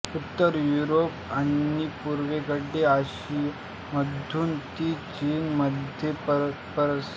उत्तर युरोप आणि पूर्वेकडे आशियामधून ती चीनमध्ये पसरली